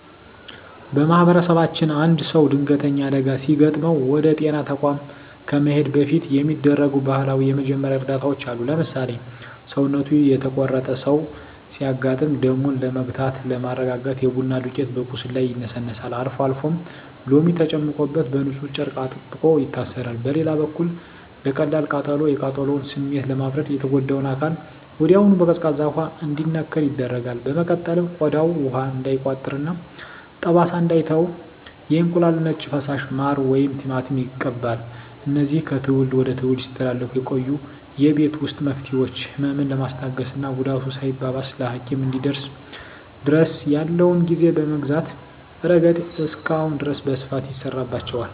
በማኅበረሰባችን አንድ ሰው ድንገተኛ አደጋ ሲገጥመው ወደ ጤና ተቋም ከመሄዱ በፊት የሚደረጉ ባህላዊ የመጀመሪያ እርዳታዎች አሉ። ለምሳሌ፣ ሰውነቱ የተቆረጠ ሰው ሲያጋጥም ደሙን ለመግታትና ለማርጋት የቡና ዱቄት በቁስሉ ላይ ይነሰነሳል፤ አልፎ አልፎም ሎሚ ተጨምቆበት በንፁህ ጨርቅ አጥብቆ ይታሰራል። በሌላ በኩል ለቀላል ቃጠሎ፣ የቃጠሎውን ስሜት ለማብረድ የተጎዳው አካል ወዲያውኑ በቀዝቃዛ ውሃ እንዲነከር ይደረጋል። በመቀጠልም ቆዳው ውሃ እንዳይቋጥርና ጠባሳ እንዳይተው የእንቁላል ነጭ ፈሳሽ፣ ማር ወይም ቲማቲም ይቀባል። እነዚህ ከትውልድ ወደ ትውልድ ሲተላለፉ የቆዩ የቤት ውስጥ መፍትሄዎች፣ ህመምን በማስታገስና ጉዳቱ ሳይባባስ ለሐኪም እስኪደርሱ ድረስ ያለውን ጊዜ በመግዛት ረገድ እስካሁን ድረስ በስፋት ይሠራባቸዋል።